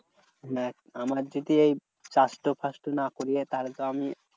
দেখ আমার যদি এই না করিয়ে তাহলে তো আমি